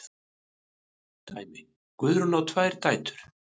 Dæmi: Guðrún á tvær dætur.